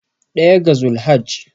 daya ga zulhajji